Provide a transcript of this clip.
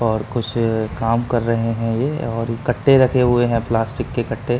और कुछ काम कर रहे हैं ये और कट्टे रखे हुए है प्लास्टिक के कट्टे।